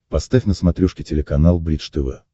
поставь на смотрешке телеканал бридж тв